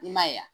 I ma ye wa